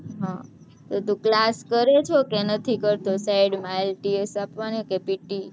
હ તો તું class કરે છે કે નથી કરતો side માં ITLS આપવાની કે pte